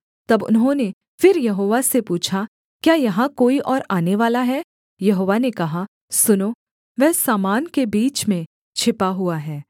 तब उन्होंने फिर यहोवा से पूछा क्या यहाँ कोई और आनेवाला है यहोवा ने कहा सुनो वह सामान के बीच में छिपा हुआ है